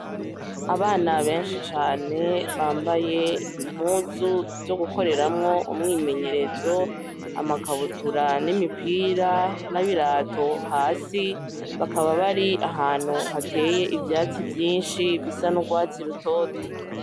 Abana benshi cane bambaye impuzu zo gukoreramwo umwimenyerezo, amakabutura, n'imipira, n'ibirato hasi; bakaba bari ahantu hateye ivyatsi vyinshi bisa n'urwatsi rutoto.